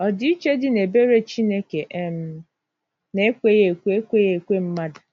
Ọdịiche Dị n’Ebere Chineke um na Ekweghị ekwe Ekweghị ekwe Mmadụ.